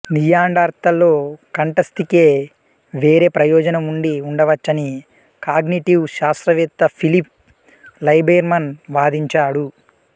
నియాండర్తళ్ళలో కంఠాస్థికి వేరే ప్రయోజనం ఉండి ఉండవచ్చని కాగ్నిటివ్ శాస్త్రవేత్త ఫిలిప్ లైబెర్మాన్ వాదించాడు